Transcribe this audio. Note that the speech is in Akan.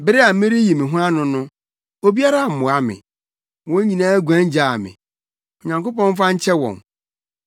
Bere a mereyi me ho ano no, obiara ammoa me. Wɔn nyinaa guan gyaa me. Onyankopɔn mfa nkyɛ wɔn.